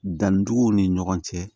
Danniduguw ni ɲɔgɔn cɛ